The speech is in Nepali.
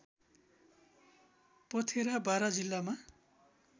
पथेरा बारा जिल्लामा